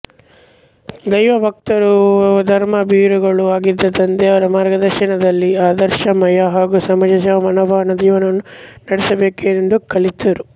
ದೈವ ಭಕ್ತರೂ ಧರ್ಮಭೀರುಗಳೂ ಆಗಿದ್ದ ತಂದೆಯವರ ಮಾರ್ಗದರ್ಶನದಲ್ಲಿ ಆದರ್ಶಮಯ ಹಾಗೂ ಸಮಾಜಸೇವಾ ಮನೋಭಾವದ ಜೀವನವನ್ನು ನಡೆಸಬೇಕೆಂದು ಕಲಿತರು